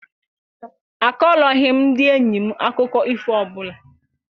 A kọrọghị ndị enyi m akụkọ ifo ọbụla.